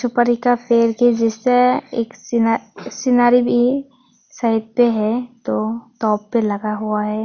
दृश्य है एक सीनरी सीनरी भी साइट पे है दो टॉप पर लगा हुआ है।